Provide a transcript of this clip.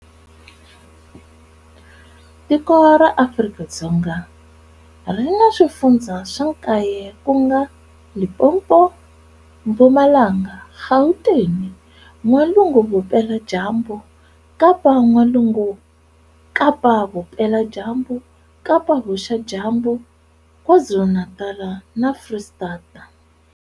Tiko ra Afrika-Dzonga ri na swifundza swa nkaye kunga-Limpopo, Mpumalanga, Gauteng, N'walungu-Vupela dyambu, Kapa-N'walungu, Kapa-Vupela dyambu, Kapa-Vuxa dyambu, Kwazulu Natala na Frestata.